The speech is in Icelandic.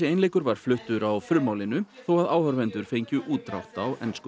leikurinn var fluttur á frummálinu þó að áhorfendur fengju útdrátt á ensku